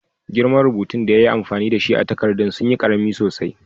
Girman rubutun da ya yi amfani da shi a'takadan sun yi karemi sosai.